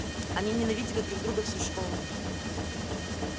они ненавидели друг друга всю школу